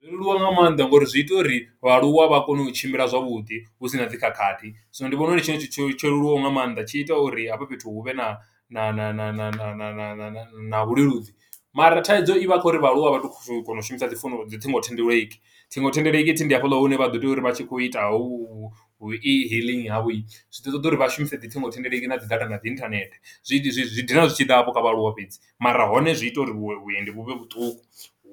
Zwo leluwa nga maanḓa ngo uri zwi ita uri, vhaaluwa vha kone u tshimbila zwavhuḓi, hu sina dzi khakhathi. Zwino ndi vhona uri ndi tshone tshithu tsho leluwaho nga maanḓa, tshi ita uri hafha fhethu hu vhe na na na na na na na na na vhuleludzi. Mara thaidzo i vha kho uri vhaaluwa a vha tu, tu kona u shumisa dzi founu, dzi thingothendeleki. Thingothendeleki thi ndi hafhaḽa hune vha ḓo tea uri vha tshi khou ita howu hu e-hailing havho, zwi ḓo ṱoḓa uri vha shumise dzi thingothendeleki na dzi data, na dzi internet. Zwi zwi dina zwi tshi ḓa hafho kha vhaaluwa fhedzi, mara hone zwi ita uri vhue vhuendi vhu vhe vhuṱuku,